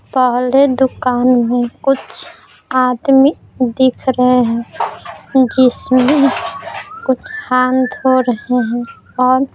पहले दुकान में कुछ आदमी दिख रहे हैं जिसमें कुछ हाथ धो रहे हैं और --